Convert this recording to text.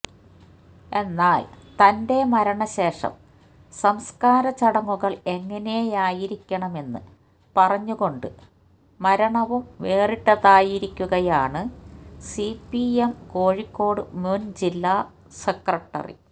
എന്നാൽ തന്റെ മരണ ശേഷം സംസ്കാര ചടങ്ങുകൾ എങ്ങനെയായിരിക്കണമെന്ന് പറഞ്ഞുകൊണ്ട് മരണവും വേറിട്ടതാക്കിയിരിക്കുകയാണ് സിപിഎം കോഴിക്കോട് മുൻ ജില്ലാ സെ